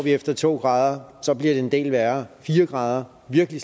efter to grader bliver en del værre fire grader virkelig